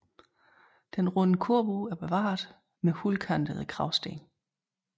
Den runde korbue er bevaret med hulkantede kragsten